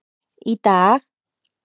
Í dag,